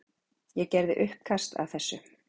Ég gerði uppkast að þessu.